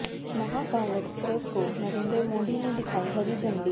Mahakal express को नरेंद्र मोदी ने दिखाई हरी झंडी